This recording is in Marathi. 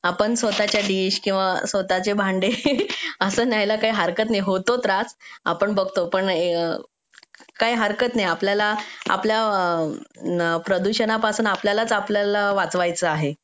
आपण स्वतःच्या डिश किंवा स्वतःचे भांडे असं न्यायला काही हरकत नाही होतो त्रास आपण बघतो पण आपल्याला आपला प्रदूषणापासून आपल्यालाच आपलं वाचवायचा आहे